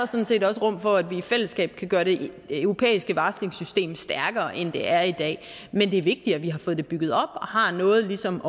sådan set også rum for at vi i fællesskab kan gøre det europæiske varslingssystem stærkere end det er i dag men det er vigtigt at vi har fået det bygget op og har noget ligesom